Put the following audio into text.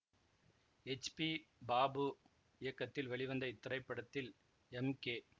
H B Babu இயக்கத்தில் வெளிவந்த இத்திரைப்படத்தில் எம் கே